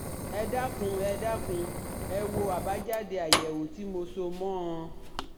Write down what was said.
Ẹ dákun ẹ dákun ẹ wo àbájáde àyẹ̀wò tí mo so mọ́ ọn